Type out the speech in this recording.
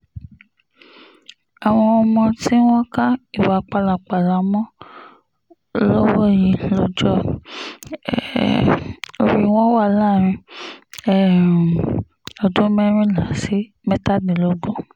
àwọn ọmọ tí wọ́n ka ìwà pálapàla mọ́ lọ́wọ́ yìí lọ́jọ́ um orí wọn wà láàrin um ọdún mẹ́rìnlá sí mẹ́tàdínlógún